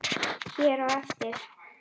hér á eftir.